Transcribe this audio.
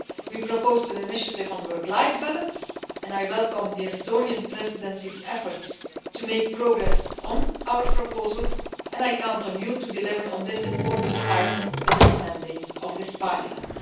We proposed an initiative on work life balance, and I welcome the Estonian Presidency's efforts to make progress on our proposal, and I count on you to deliver on this important file within the mandate of this Parliament.